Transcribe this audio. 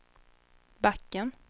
backen